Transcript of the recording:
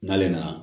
N'ale nana